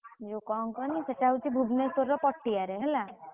ଯୋଉ କଣ କହନି ସେଟା ହଉଛି ଭୁବନେଶ୍ବରର ପଟିଆରେ ହେଲା।